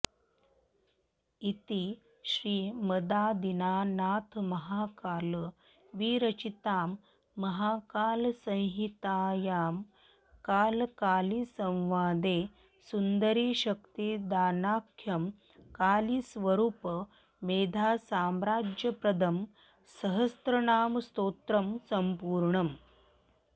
इति श्रीमदादिनाथमहाकालविरचितायां महाकालसंहितायां कालकालीसंवादे सुन्दरीशक्तिदानाख्यं कालीस्वरूप मेधासाम्राज्यप्रदं सहस्रनामस्तोत्रं सम्पूर्णम्